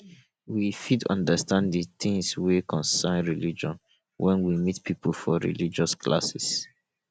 we fit undersand the things wey concern religion when we meet pipo for religious classes